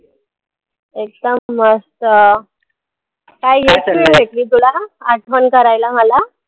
एकदम मस्त. काय हीच वेळ भेटली तुला, आठवण करायला मला?